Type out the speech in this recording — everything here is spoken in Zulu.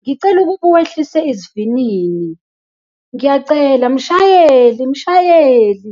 Ngicela ukuba uwehlise isivinini, ngiyacela. Mshayeli! Mshayeli!